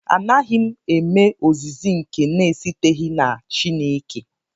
Anaghị m eme ozizi nke na-esiteghị na Chineke